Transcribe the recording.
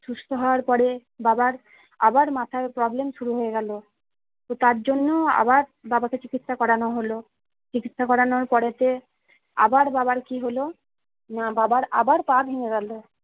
সুস্থ হওয়ার পরে বাবার আবার মাথায় problem শুরু হয়ে গেলো তো তার জন্য আবার বাবাকে চিকিৎসা করানো হলো চিকিৎসা করানোর পড়েতে আবার বাবার কি হলো না বাবার আবার পা ভেঙে গেলো